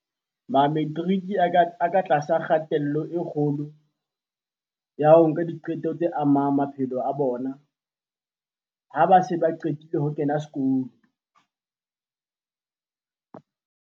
Mametiriki a ka tlase ho kgatello e kgolo ya ho nka diqeto tse amang maphelo a bona ha ba se ba qetile ho kena sekolo.